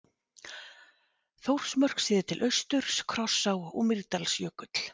Þórsmörk séð til austurs, Krossá og Mýrdalsjökull.